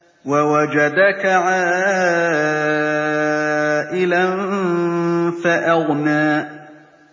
وَوَجَدَكَ عَائِلًا فَأَغْنَىٰ